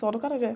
Só do acarajé.